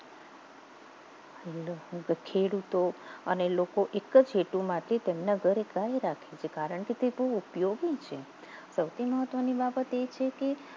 ખેડૂતો અને લોકો એક જ હેતુ માટે તેમના ઘરે ગાય રાખે છે કારણ કે તે બહુ ઉપયોગી છે સૌથી મહત્વની વાત એ છે કે